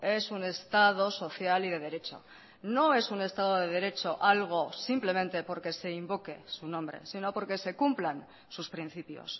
es un estado social y de derecho no es un estado de derecho algo simplemente porque se invoque su nombre sino porque se cumplan sus principios